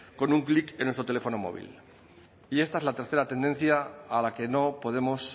con un clic en nuestro teléfono móvil y esta es la tercera tendencia a la que no podemos